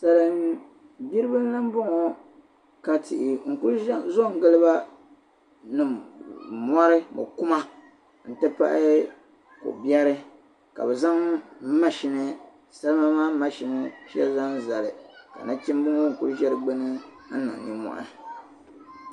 salim gbiri ba n lan bɔŋɔ ka tihi n kuli zo n giliba nim mɔri mɔkuma n ti pahi ko biɛri ka bɛ zaŋ mashini salima maa mashini shɛli lan zali ka nachimba ŋɔ n kuli ʒe di gbuni n niŋ nin mɔhi